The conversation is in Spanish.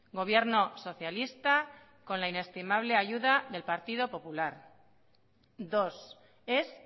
gobierno socialista con la inestimable ayuda del partido popular dos es